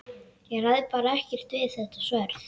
Ég ræð bara ekkert við þetta sverð!